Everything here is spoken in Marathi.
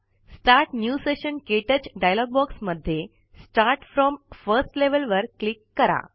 स्टार्ट न्यू सेशन क्टच डायालोग बॉक्समध्ये स्टार्ट फ्रॉम फर्स्ट लेव्हल वर क्लिक कारा